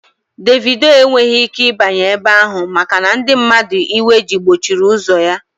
Dévido enweghị ike ịbanye ebe ahụ maka na ndị mmadụ iwe ji gbochiri ụzọ ya